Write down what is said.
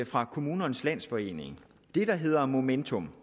fra kommunernes landsforening der hedder momentum